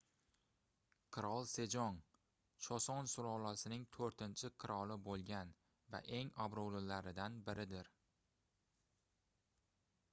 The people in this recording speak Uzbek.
qirol sejong choson sulolasining toʻrtinchi qiroli boʻlgan va eng obroʻlilaridan biridir